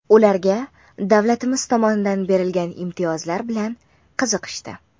Ularga davlatimiz tomonidan berilgan imtiyozlar bilan qiziqishdi.